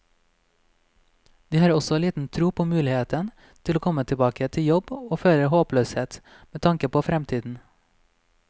De har også liten tro på muligheten til å komme tilbake til jobb, og føler håpløshet med tanke på fremtiden.